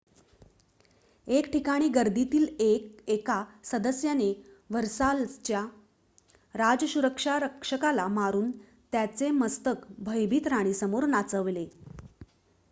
एक ठिकाणी गर्दीतील एका सदस्याने व्हर्साल्स च्या राजसुरक्षा रक्षकाला मारून त्याचे मस्तक भयभीत राणीसमोर नाचवले